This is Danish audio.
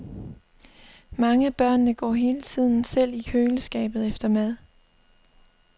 Mange af børnene går hele tiden selv i køleskabet efter mad.